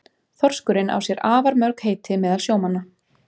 Þorskurinn á sér afar mörg heiti meðal sjómanna.